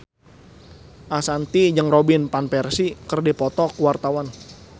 Ashanti jeung Robin Van Persie keur dipoto ku wartawan